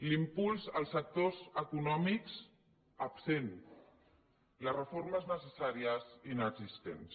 l’impuls als sectors econòmics absent les reformes necessàries inexistents